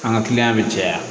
An ka kiliyan bɛ caya